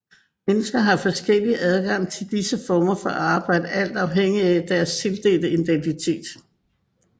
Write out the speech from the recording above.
Mennesker har forskellig adgang til disse former for arbejde alt afhængigt af deres tildelte identitet